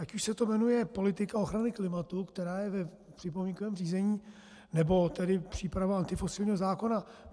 Ať už se to jmenuje politika ochrany klimatu, která je v připomínkovém řízení, nebo tedy příprava antifosilního zákona.